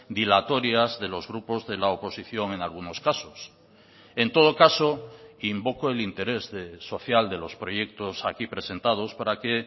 dilatorias de los grupos de la oposición en algunos casos en todo caso invoco el interés social de los proyectos aquí presentados para que